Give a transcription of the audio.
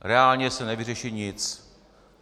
Reálně se nevyřeší nic.